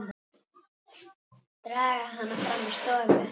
Draga hana fram í stofu.